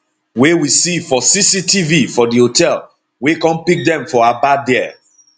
wey we see for cctv for di hotel wey come pick dem for aba dia